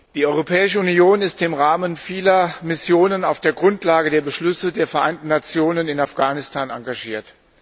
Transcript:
Die Europäische Union ist im Rahmen vieler Missionen auf der Grundlage der Beschlüsse der Vereinten Nationen in Afghanistan engagiert.